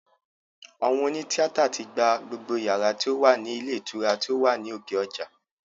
Àwọn òní tíátà tí gba gbogbo yàrá tí ó wà ní ilé ìtura tí ó wà ní òkè ọjà